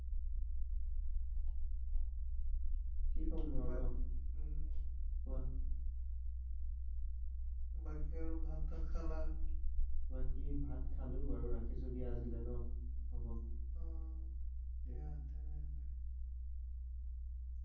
কি কমনো আৰু ন উম কোৱা বাকি আৰু ভাত চাত খালা বাকি ভাত খালো বাৰু ৰাখিছো দিয়া আজিলে ন হব অহ দিয়া তেনেহলে